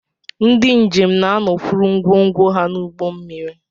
Ndị njem na-anọkwuru ngwongwo ha n'ụgbọ mmiri